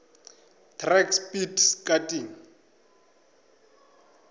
track speed skating